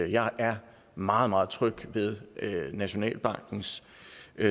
jeg er meget meget tryg ved nationalbankens